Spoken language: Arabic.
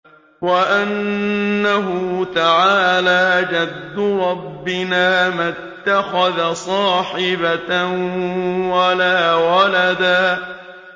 وَأَنَّهُ تَعَالَىٰ جَدُّ رَبِّنَا مَا اتَّخَذَ صَاحِبَةً وَلَا وَلَدًا